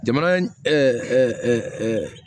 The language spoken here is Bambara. Jamana